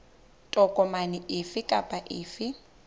tokomane efe kapa efe e